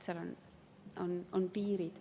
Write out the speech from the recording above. Seal on piirid.